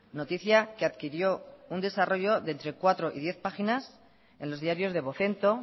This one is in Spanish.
noticia que adquirió un desarrollo de entre cuatro y diez páginas en los diarios de vocento